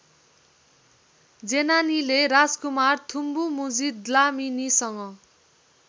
जेनानीले राजकुमार थुम्बुमुजी द्लामिनिसँग